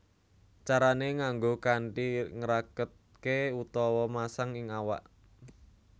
Carané nganggo kanthi ngraketké utawa masang ing awak